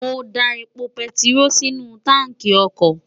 mo da epo bẹntiró sínú táǹkì ọkọ̀